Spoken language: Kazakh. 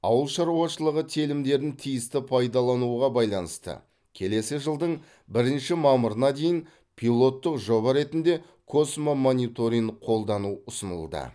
ауыл шаруашылығы телімдерін тиісті пайдалануға байланысты келесі жылдың бірінші мамырына дейін пилоттық жоба ретінде космомониторинг қолдану ұсынылды